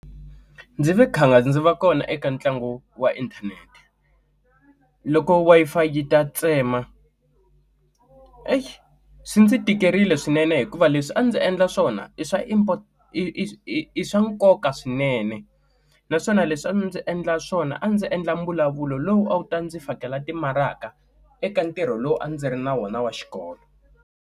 Ndzi ndzi va kona eka ntlangu wa inthanete loko Wi-Fi yi ta tsema heyi swi ndzi tikerile swinene hikuva leswi a ndzi endla swona i swa import i swa nkoka swinene naswona leswi a ndzi endla swona a ndzi endla mbulavulo lowu a wu ta ndzi fakela timaraka eka ntirho lowu a ndzi ri na wona wa xikolo.